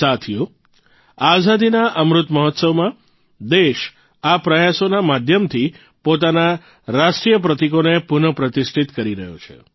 સાથીઓ આઝાદીના અમૃત મહોત્સવમાં દેશ આ પ્રયાસોના માધ્યમથી પોતાના રાષ્ટ્રીય પ્રતિકોને પુનઃ પ્રતિષ્ઠિત કરી રહ્યો છે